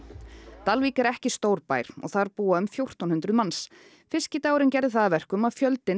Dalvík er ekki stór bær og þar búa um fjórtán hundruð manns fiskidagurinn gerði það að verkum að fjöldinn